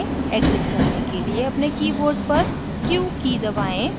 exit करने के लिए अपने keyboard पर q की दबाएँ